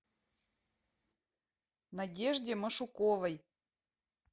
надежде машуковой